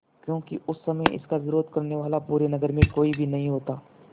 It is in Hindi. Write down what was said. क्योंकि उस समय इसका विरोध करने वाला पूरे नगर में कोई भी नहीं होता